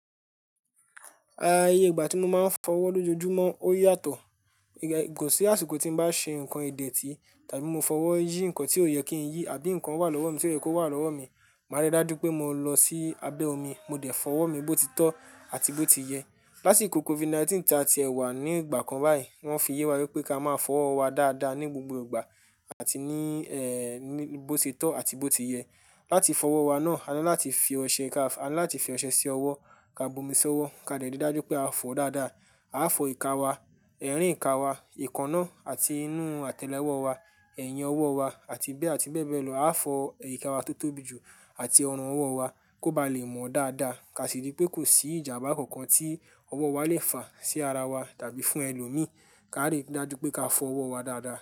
Ah, iye ìgbà tí mo máa ń fọ ọwọ́ lójoojúmọ́ ó yàtọ̀. Kò sí àsìkò tí n bá ṣe nǹkan ìdẹ tí tàbí mo fọwọ́ yí ǹkan tí ò yẹ kí n yí àbí ǹkan wà lọ́wọ́ mi tí ó yẹ kó wà lọ́wọ́ mi, màá rí dájú pé mo lọ sí abẹ́ omi, mo dẹ̀ fọ́wọ́ mi bó ti tọ́ àti bó ti yẹ. Lásìkò COVID-19 tí a ti ẹ wà ní ìgbà kan báyìí, wọ́n fi yé wa wípé ká máa fọ ọwọ́ wa dáadáa ní gbogbo ìgbà àti ní, ní bó ti tọ́ àti bó ti yẹ. Láti fọ ọwọ́ wa náà, a ní láti fi ọṣẹ ka, a ní láti fi ọṣẹ sí ọwọ́ ká bu omi sí ọwọ́ ká dẹ rí dájú pé a fọọ dáadáa. A á fọ ìka wa, ẹ̀rín ìka wa, éèkànà àti inú àtẹ́lé ọwọ́ wa, ẹ̀yìn ọwọ́ wa àti bẹ́ àti bẹ̀ bẹ́ lọ. A á fọ íka wa tó tóbi jù àti ọrùn ọwọ́ wa kó ba lè mọ́ dáadáa ká sì rí pé kò sí ìjàmbá kankan tí ọwọ́ wa lè fa sí ara wa tàbí fún ẹlòmíí. Ká lè rí dájú pé ká fọ ọwọ́ wa dáadáa.